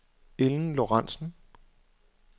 Ellen Lorenzen